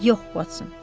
Yox, Watson.